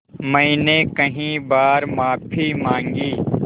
मैंने कई बार माफ़ी माँगी